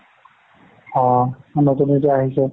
অ। নতুন নতুন আহিছে।